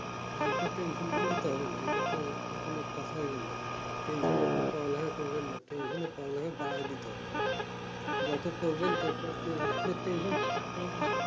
এটাতে tension করলে হবে না এটাতো কোনো কথা হইলো না tension আপনি পালাই পড়বেন না tension এর পড়বেন না bye পড়ালেখা বাড়ায় দিতে হবে যত পড়বেন